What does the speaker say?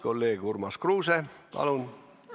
Kolleeg Urmas Kruuse, palun!